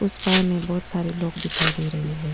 उस पार में बहुत सारे लोग दिखाई दे रही है।